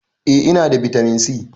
Eh ina da bitamin si